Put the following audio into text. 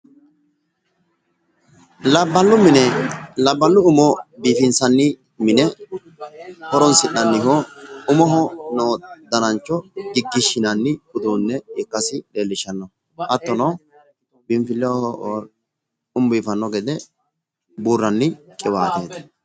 Labballu Umo biifinsanni mine horonsi'nanniho umoho noo danancho giggishshinanni uduunne ikkasi leellishanno hattono biinfilleho umu biifanno gede buurranni qiwaateeti.